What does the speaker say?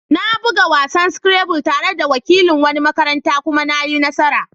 Na buga wasan Scrabble tare da wakilin wani makarantar kuma na yi nasara.